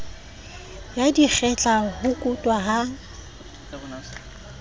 ya dikgetla ho kutwa ha